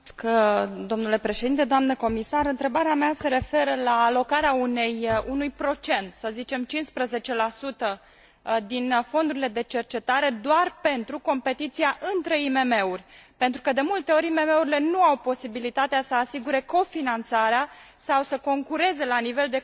Întrebarea mea se referă la alocarea unui procent, să zicem 15, din fondurile de cercetare doar pentru competiția între IMM uri, pentru că de multe ori IMM urile nu au posibilitatea să asigure co finanțarea sau să concureze la nivel de co finanțare cu marile întreprinderi.